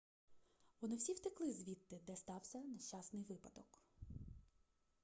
вони всі втекли звідти де стався нещасний випадок